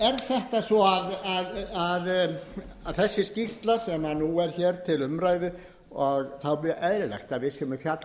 auðvitað er þetta svo að þessi skýrsla sem er nú til umræðu og það er mjög eðlilegt að við séum að fjalla